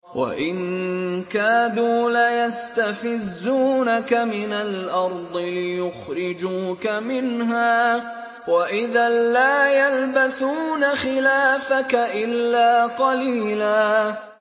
وَإِن كَادُوا لَيَسْتَفِزُّونَكَ مِنَ الْأَرْضِ لِيُخْرِجُوكَ مِنْهَا ۖ وَإِذًا لَّا يَلْبَثُونَ خِلَافَكَ إِلَّا قَلِيلًا